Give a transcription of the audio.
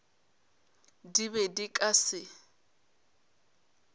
di be di ka se